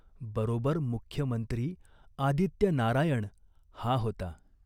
बरोबर मुख्य मंत्री आदित्यनारायण हा होता.